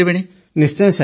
ପ୍ରେମ୍ ଜୀ ନିଶ୍ଚୟ ସାର୍